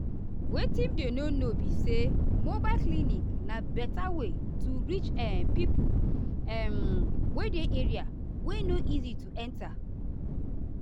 wetin dem no know be saymobile clinic na better way to reach ah pipo um wey dey area wey no easy to enta.